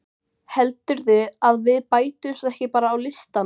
Heldurðu að við bætumst ekki bara á listann?